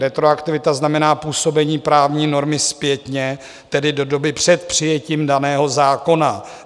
Retroaktivita znamená působení právní normy zpětně, tedy do doby před přijetím daného zákona.